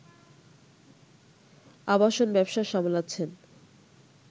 আবাসন ব্যবসা সামলাচ্ছেন